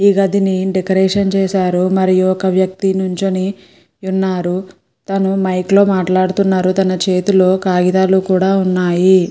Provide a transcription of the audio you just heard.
ఈ గదిని డెకరేషన్ చేశారు. మరియు ఒక వ్యక్తి నించొని ఉన్నారు. తను మైక్ లో మాట్లాడుతున్నారు. తన చేతిలో కాగితాలు కూడా ఉన్నాయి.